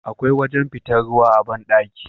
Akwai wajan fitar ruwa a banɗaki